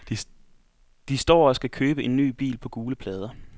De står og skal købe en ny bil på gule plader.